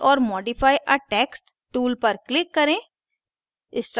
add or modify a text tool पर click करें